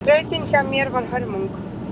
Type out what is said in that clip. Þrautin hjá mér var hörmung